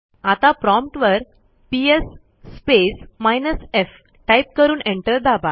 आता प्रॉम्प्ट वर PS space minus fटाईप करून एंटर दाबा